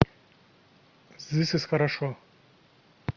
зис ис хорошо